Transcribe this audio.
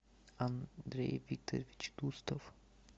андрей викторович тустов